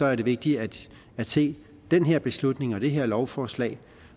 er det vigtigt at se den her beslutning og det her lovforslag